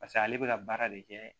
Paseke ale bɛ ka baara de kɛ